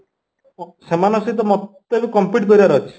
ସେମାନଙ୍କ ସହିତ ମତେ ବି compete କରିବାର ଅଛି